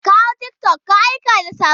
Ka hau tiktok ka aika da saƙo!